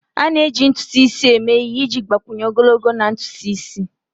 A na-eji ntutu isi eme ihe iji gbakwunye ogologo na ntutu isi.